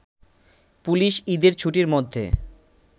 police ঈদের ছুটির মধ্যে